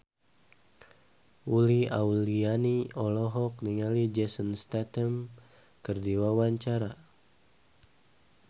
Uli Auliani olohok ningali Jason Statham keur diwawancara